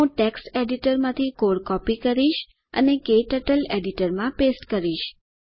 હું ટેક્સ્ટ એડિટરમાંથી code copy કરીશ અને ક્ટર્ટલ એડિટરમાં પેસ્ટ કરીશ